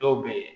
Dɔw bɛ ye